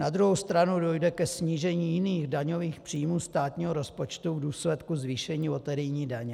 Na druhou stranu dojde ke snížení jiných daňových příjmů státního rozpočtu v důsledku zvýšení loterijní daně.